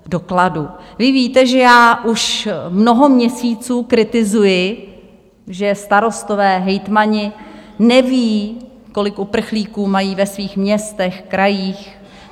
Vy víte, že já už mnoho měsíců kritizuji, že starostové, hejtmani nevědí, kolik uprchlíků mají ve svých městech, krajích.